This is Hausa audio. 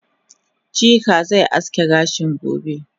Chike ze aske kanshi gobe